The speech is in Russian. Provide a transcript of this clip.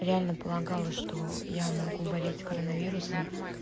реально полагала что я могу болеть коронавирусом